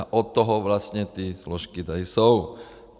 A od toho vlastně ty složky tady jsou.